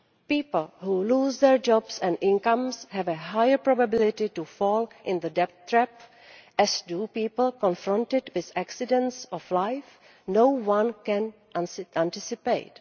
People who lose their jobs and incomes have a higher probability of falling into the debt trap, as do people confronted with accidents of life no one can anticipate.